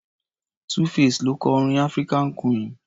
2-face ló kọ orin African queen.